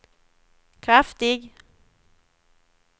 kraftig